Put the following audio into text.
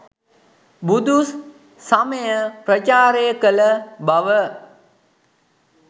බුදු සමය ප්‍රචාරය කළ බව.